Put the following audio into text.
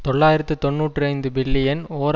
தொள்ளாயிரத்து தொன்னூற்றி ஐந்து பில்லியன் ஓர்